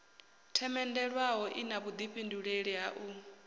themendelwaho ina vhuḓifhindulei ha u